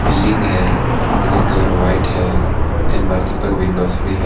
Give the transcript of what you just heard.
Building है इनका colour white है एंड मल्टीप्ल विंडोज भी है।